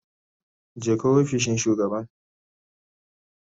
Jeka ofishin shugaban